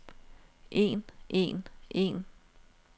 en en en